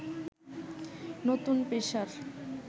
নতুন পেশার